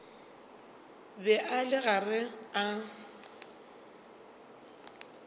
be a le gare a